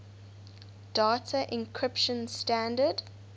data encryption standard